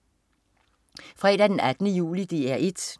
Fredag den 18. juli - DR 1: